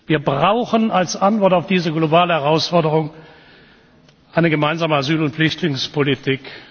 Wir brauchen als Antwort auf diese globale Herausforderung eine gemeinsame Asyl und Flüchtlingspolitik.